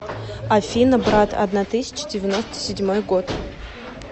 афина брат одна тысяча девяносто седьмой год